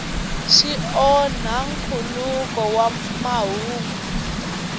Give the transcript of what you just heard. swi onhi nkhuluko wa mahungu